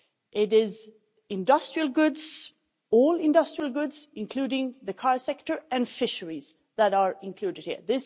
It is industrial goods, all industrial goods including the car sector and fisheries, that are included here.